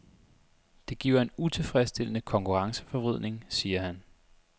Det giver en utilfredsstillende konkurrenceforvridning, siger han.